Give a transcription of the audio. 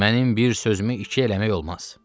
Mənim bir sözümü iki eləmək olmaz.